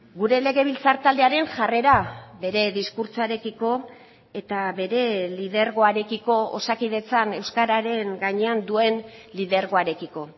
gure legebiltzar taldearen jarrera bere diskurtsoarekiko eta bere lidergoarekiko osakidetzan euskararen gainean duen lidergoarekiko